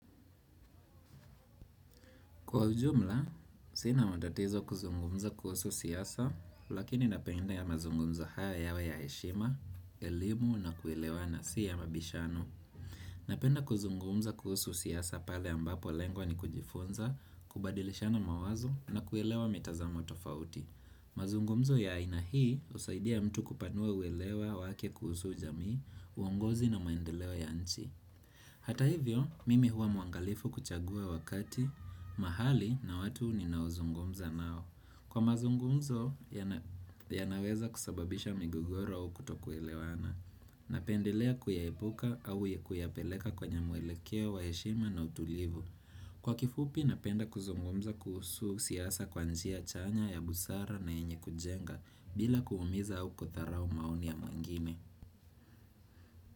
Kwa ujumla, sina matatizo kuzungumza kuhusu siasa, lakini napendea mazungumzo haya yawe ya heshima, elimu na kuelewana si ya mabishano. Napenda kuzungumza kuhusu siasa pale ambapo lengo ni kujifunza, kubadilishana mawazo na kuelewa mitazamo tofauti. Mazungumzo ya aina hii husaidia mtu kupanua uelewa wake kuhusu jamii, uongozi na maendeleo ya nchi. Hata hivyo, mimi huwa mwangalifu kuchagua wakati, mahali na watu ninaozungumza nao Kwa mazungumzo, yanaweza kusababisha migogoro au kutokuelewana Napendelea kuyaepuka au kuyapeleka kwenye mwelekeo wa heshima na utulivu Kwa kifupi, napenda kuzungumza kuhusu siasa kwa njia chanya ya busara na yenye kujenga bila kuumiza au kudharao maonia ya mwingine.